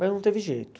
Mas não teve jeito.